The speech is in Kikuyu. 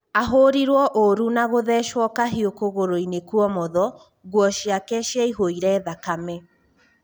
Ahũrirwo ũrũ nagũthecwo kahiũ kũgũrũinĩ kuomotho, nguo ciake ciaihũire thakame.